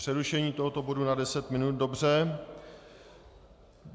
Přerušení tohoto bodu na deset minut, dobře.